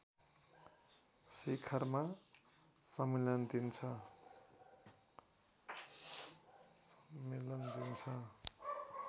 शिखरमा सम्मिलन दिन्छ